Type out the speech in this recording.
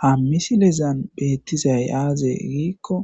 ha misilezan beettizay aaze giikko